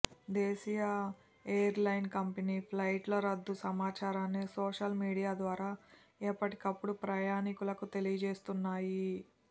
దేశీయ ఎయిర్లైన్ కంపెనీలు ఫ్లైట్ల రద్దు సమాచారాన్ని సోషల్ మీడియా ద్వారా ఎప్పటి కప్పుడు ప్రయాణీకులకు తెలియజేస్తున్నాయి